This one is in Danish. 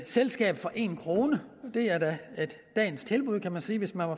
selskab for en kroner og det er da dagens tilbud kan man sige hvis man